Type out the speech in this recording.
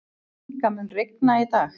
Inga, mun rigna í dag?